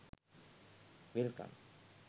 welcome